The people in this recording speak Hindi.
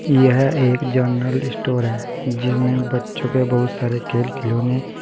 यह एक जनरल स्टोर है जिसमे बच्चो के बहुत सारे खेल खिलौने--